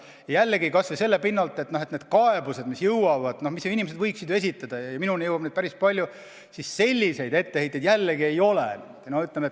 Väidan seda kas või selle pinnalt, et nende kaebuste seas, mis minuni on jõudnud – ja minuni on neid jõudnud päris palju – selliseid etteheiteid ei ole.